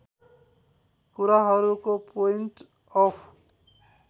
कुराहरूको point of